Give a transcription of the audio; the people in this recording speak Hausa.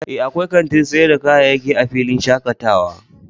Ee, akwai kantin sayar da kayayyaki a filin shakatawa